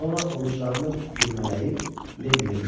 Sonra ovucularını bürmələyib, Lenniyə qışqırdı.